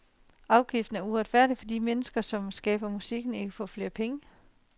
Afgiften er uretfærdig, fordi de mennesker, som skaber musikken, ikke får pengene.